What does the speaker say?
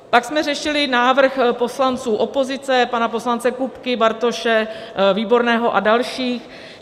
Pak jsme řešili návrh poslanců opozice, pana poslance Kupky, Bartoše, Výborného a dalších.